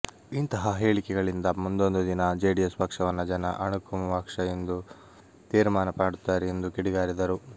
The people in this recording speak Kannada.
ಇಂತಹ ಹೇಳಿಕೆಗಳಿಂದ ಮುಂದೊಂದು ದಿನ ಜೆಡಿಎಸ್ ಪಕ್ಷವನ್ನ ಜನ ಅಣಕು ಪಕ್ಷ ಎಂದು ತೀರ್ಮಾನ ಮಾಡುತ್ತಾರೆ ಎಂದು ಕಿಡಿಕಾರಿದರು